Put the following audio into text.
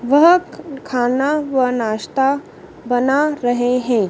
वह ख खाना व नाश्ता बना रहे हैं।